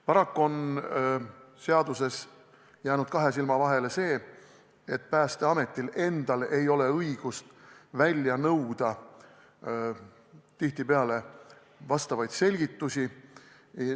Paraku on seaduses jäänud kahe silma vahele see, et Päästeametil endal ei ole õigust välja nõuda vastavaid selgitusi.